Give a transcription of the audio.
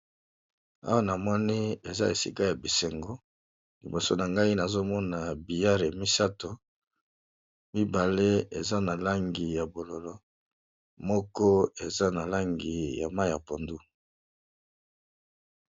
Awa na moni eza esika ya bisengo, liboso na ngai nazomona billare misato mibale eza na langi ya bololo, moko eza na langi ya mayi ya pondu.